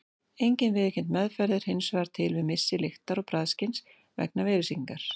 Engin viðurkennd meðferð er hins vegar til við missi lyktar- og bragðskyns vegna veirusýkingar.